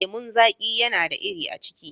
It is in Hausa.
lemun zaƙi yana da iri a ciki.